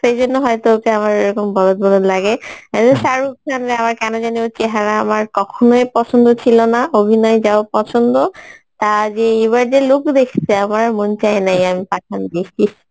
সেইজন্য হয়তো ওকে আমার এইরকম বলধ বলধ লাগে শাহরুখ খানরে আমার কেন জানি ওর চেহেরা আমার কহনই পসন্দ ছিলো না অভিনয় যাহোক পছন্দ তা যে এইবার যে look দেকসি আমার আর মন চাই নাই পাঠান দেখি